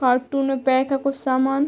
Cartoon में pack है कुछ समान।